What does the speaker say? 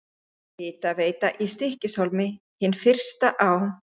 Hitaveita í Stykkishólmi, hin fyrsta á